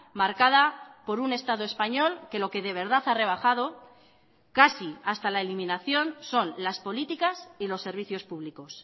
marcada por un estado español que lo que de verdad ha rebajado casi hasta la eliminación son las políticas y los servicios públicos